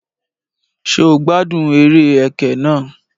Ṣé o gbádùn eré ẹkẹ náà?